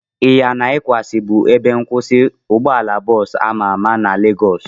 Ịyana ịpaja bụ ebe nkwụsị ụgbọala bọọsu ama ama na Legọs